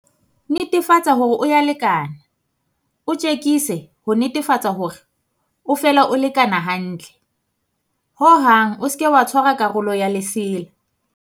Netefatsa hore o ya o lekana. O tjekise ho netefatsa hore o fela o lekana hantle. Ho hang o seke wa tshwara karolo ya lesela.